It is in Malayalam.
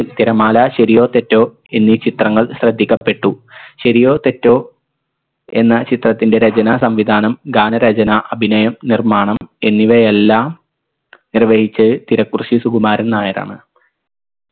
തിരമാല ശരിയോ തെറ്റോ എന്നീ ചിത്രങ്ങൾ ശ്രദ്ധിക്കപ്പെട്ടു ശരിയോ തെറ്റോ എന്ന ചിത്രത്തിൻറെ രചന സംവിധാനം ഗാനരചന അഭിനയം നിർമ്മാണം എന്നിവയെല്ലാം നിർവഹിച്ചത് തിരക്കുറുശ്ശി സുകുമാരൻ നായരാണ്